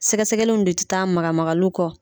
Sɛgɛsɛgɛlinw de tɛ taa lamagalinw kɔ.